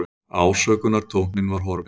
Ásökunartónninn var horfinn.